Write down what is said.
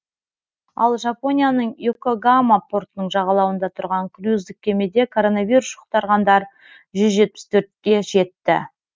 ал жапонияның и окогама портының жағалауында тұрған круиздік кемеде коронавирус жұқтырғандар жүз жетпіс төртке жетті